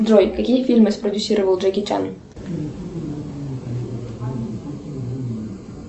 джой какие фильмы спродюсировал джеки чан